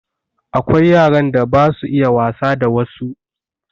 Akwai yaran da basu iya wasa da wassu